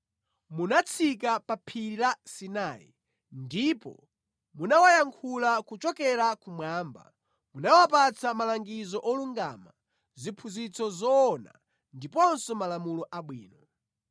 “Munatsika pa Phiri la Sinai, ndipo munawayankhula kuchokera kumwamba. Munawapatsa malangizo olungama, ziphunzitso zoona ndiponso malamulo abwino.